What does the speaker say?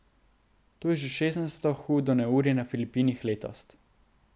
To je že šestnajsto hudo neurje na Filipinih letos.